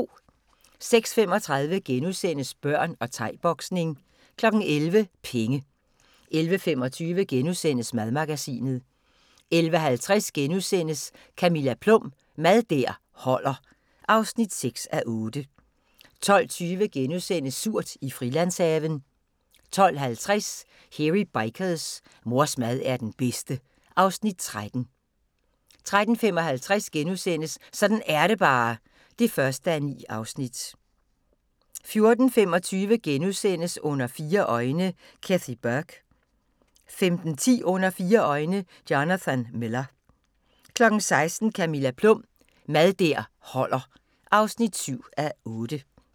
06:35: Børn og thai-boksning * 11:00: Penge 11:25: Madmagasinet * 11:50: Camilla Plum – Mad der holder (6:8)* 12:20: Surt i Frilandshaven * 12:50: Hairy Bikers: Mors mad er den bedste (Afs. 13) 13:55: Sådan er det bare (1:9)* 14:25: Under fire øjne – Kathy Burke * 15:10: Under fire øjne – Jonathan Miller 16:00: Camilla Plum – Mad der holder (7:8)